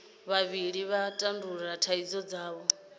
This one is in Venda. vhavhili vha tandulula thaidzo dzavho